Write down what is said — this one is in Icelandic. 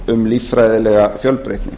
um líffræðilega fjölbreytni